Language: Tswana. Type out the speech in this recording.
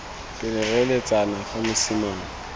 pele re eletsa fa mosimane